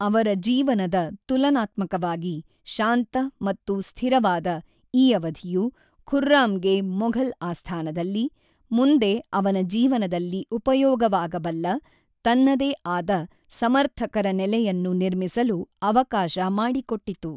ಅವರ ಜೀವನದ ತುಲನಾತ್ಮಕವಾಗಿ ಶಾಂತ ಮತ್ತು ಸ್ಥಿರವಾದ ಈ ಅವಧಿಯು ಖುರ್ರಾಮ್‌ಗೆ ಮೊಘಲ್ ಆಸ್ಥಾನದಲ್ಲಿ, ಮುಂದೆ ಅವನ ಜೀವನದಲ್ಲಿ ಉಪಯೋಗವಾಗಬಲ್ಲ, ತನ್ನದೇ ಆದ ಸಮರ್ಥಕರ ನೆಲೆಯನ್ನು ನಿರ್ಮಿಸಲು ಅವಕಾಶ ಮಾಡಿಕೊಟ್ಟಿತು.